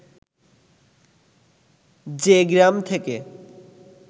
যে গ্রাম থেকে